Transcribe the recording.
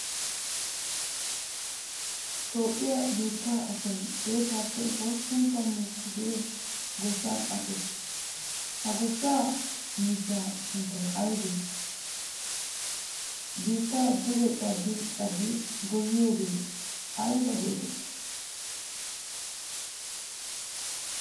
Toophphiya biittaa asay xeettaappe hosppun tammu kushee goshshan aqees, ha goshshaa miishshaa sunttay aybee? Biittaa duge cadi cadi gooyiyagee ayba geetettii?